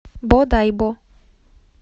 бодайбо